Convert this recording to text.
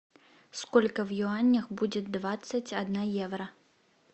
сколько в юанях будет двадцать один евро